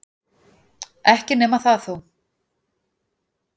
Ekki nema það þó!